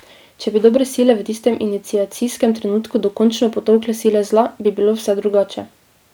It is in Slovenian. Če bi dobre sile v tistem iniciacijskem trenutku dokončno potolkle sile zla, bi bilo vse drugače.